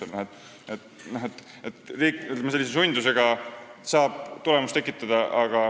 Ütleme nii, et riik saab sellise sundusega tulemusi tekitada.